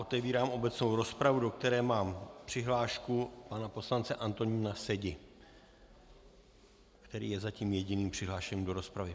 Otevírám obecnou rozpravu, do které mám přihlášku pana poslance Antonína Sedi, který je zatím jediným přihlášeným do rozpravy.